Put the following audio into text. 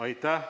Aitäh!